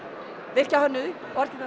virkja hönnuði